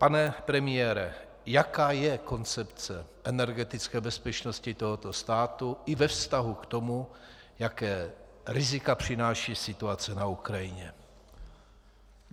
Pane premiére, jaká je koncepce energetické bezpečnosti tohoto státu i ve vztahu k tomu, jaká rizika přináší situace na Ukrajině?